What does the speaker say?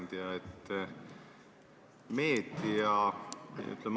Hea ettekandja!